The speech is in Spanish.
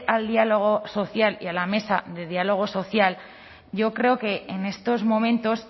al diálogo social y a la mesa de diálogo social yo creo que en estos momentos